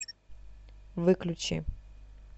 выключи